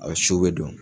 A suw bɛ don